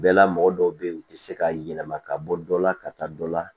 Bɛɛla mɔgɔ dɔw be yen u ti se ka yɛlɛma ka bɔ dɔ la ka taa dɔ la